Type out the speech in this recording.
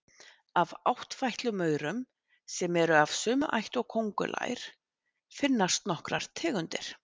Af áttfætlumaurum, sem eru af sömu ætt og köngulær, finnast nokkrar tegundir.